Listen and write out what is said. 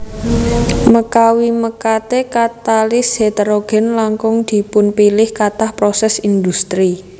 Mekawi mekate katalis heterogen langkung dipunpilih katah proses industri